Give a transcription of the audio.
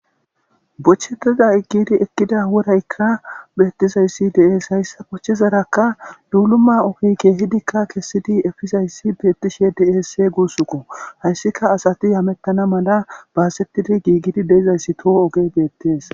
Boncho xala giddi eqqida worayika beetiza issi dees. Ha issi boncosaraka luluma keehidika eqqidi efidi kesida betishe de'es.ha issika asati hemetana mala basetidi giggida issippe oge beettes.